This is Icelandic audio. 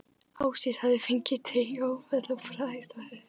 Ásdís hafði fengið taugaáfall og brákast á höfði.